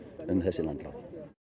um þessi landráð